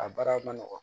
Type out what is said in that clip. A baara ma nɔgɔn